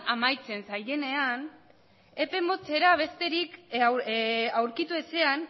amaitzen zaienean epe motzera besterik aurkitu ezean